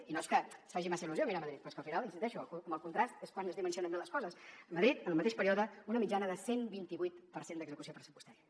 i no és que ens faci massa il·lusió mirar madrid però és que al final hi insisteixo amb el contrast és quan es dimensionen bé les coses a madrid en el mateix període una mitjana de cent i vint vuit per cent d’execució pressupostària